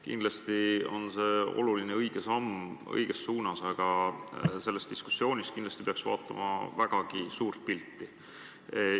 Kindlasti on see oluline ja õige samm õiges suunas, aga selles diskussioonis peaks kindlasti vaatama suurt pilti.